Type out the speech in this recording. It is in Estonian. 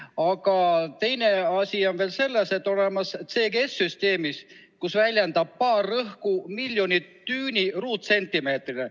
Aga teine asi on see, et on olemas ka CGS-süsteem, kus baar väljendab rõhku miljon düüni ruutsentimeetrile.